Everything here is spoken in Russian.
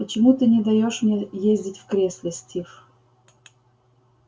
почему ты не даёшь мне ездить в кресле стив